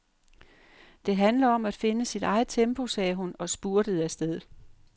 Det handler om at finde sit eget tempo, sagde hun og spurtede afsted.